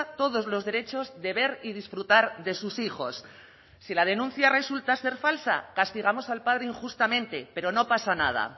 todos los derechos de ver y disfrutar de sus hijos si la denuncia resulta ser falsa castigamos al padre injustamente pero no pasa nada